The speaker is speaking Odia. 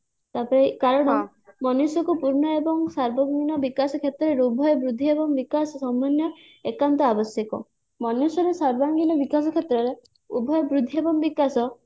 ତାପରେ କାରଣ ମନୁଷ୍ୟକୁ ପୂର୍ଣ୍ଣ ଏବଂ ସାର୍ବଭୌମ୍ୟ ବିକାଶ କ୍ଷେତ୍ରରେ ଉଭୟ ବୃଦ୍ଧି ଏବଂ ବିକାଶ ସମନ୍ନୟ ଏକାନ୍ତ ଆବଶ୍ୟକ ମନୁଷ୍ୟର ସର୍ବାଙ୍ଗୀନ ବିକାଶ କ୍ଷେତ୍ରରେ ଉଭୟ ବୃଦ୍ଧି ଏବଂ ବିକାଶ